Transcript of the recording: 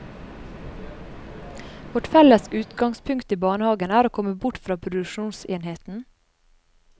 Vårt felles utgangspunkt i barnhagen er å komme bort fra produksjonsenheten.